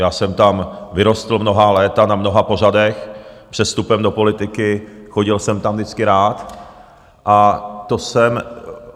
Já jsem tam vyrostl mnohá léta na mnoha pořadech, před vstupem do politiky, chodil jsem tam vždycky rád, a to jsem...